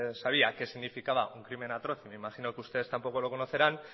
sabía qué significaba un crimen atroz y me imagino que ustedes tampoco lo conocerán